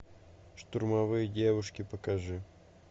штурмовые девушки покажи